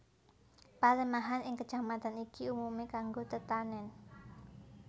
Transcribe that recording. Palemahan ing Kecamatan iki umumé kanggo tetanèn